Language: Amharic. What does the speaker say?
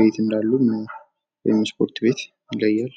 ቤት እንዳሉም ወይም ስፖርት ቤት ይለያል።